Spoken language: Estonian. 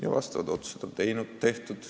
Ja sellekohased otsused on tehtud.